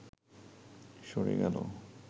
সরে গেলে